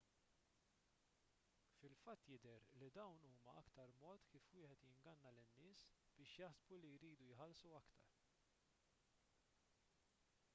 fil-fatt jidher li dawn huwa aktar mod kif wieħed jinganna lin-nies biex jaħsbu li jridu jħallsu iktar